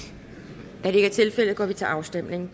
da det ikke er tilfældet går vi til afstemning